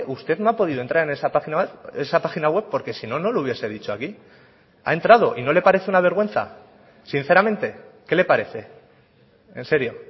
usted no ha podido entrar en esa página web porque si no no lo hubiese dicho aquí ha entrado y no le parece una vergüenza sinceramente qué le parece en serio